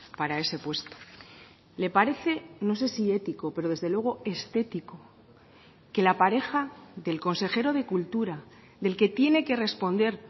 para ese puesto le parece no sé si ético pero desde luego estético que la pareja del consejero de cultura del que tiene que responder